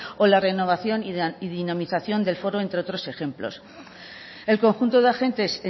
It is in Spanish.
o la renovación y dinamización del foro entre otros ejemplos el conjunto de agentes